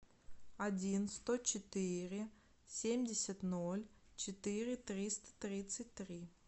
один сто четыре семьдесят ноль четыре триста тридцать три